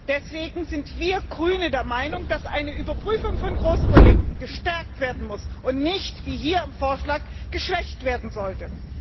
Deswegen sind wir Grüne der Meinung, dass eine Überprüfung von Großprojekten gestärkt werden muss und nicht, wie hier im Vorschlag, geschwächt werden sollte.